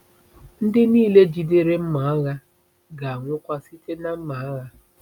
“Ndị niile jidere mma agha ga-anwụkwa site na mma agha.”